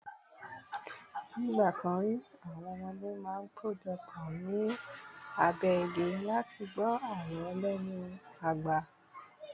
nigbakan ri, àwọn ọmọdé ma n pejọ pọ̀ ni abe igi láti gbọ àlọ lenu agba